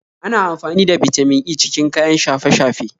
Ana amfani da Bitamin E cikin kayan shafe-shafe